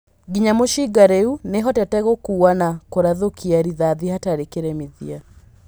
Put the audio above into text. "Nginya mũcinga rĩu nĩhoteete gũkuua na kũrathũkia rithathi hatarĩ kĩremithia".